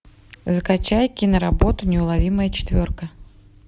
закачай киноработу неуловимая четверка